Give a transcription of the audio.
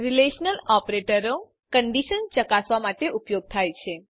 relational ઓપરેટરો condition ચકાસવા માટે ઉપયોગ થાય છે